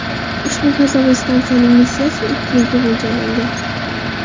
Ushbu fazoviy stansiyaning missiyasi ikki yilga mo‘ljallangan.